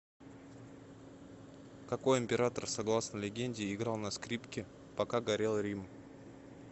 какой император согласно легенде играл на скрипке пока горел рим